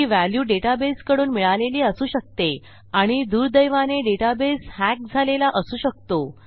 ही value डेटाबेसकडून मिळालेली असू शकते आणि दुर्दैवाने डेटाबेस हॅक झालेला असू शकतो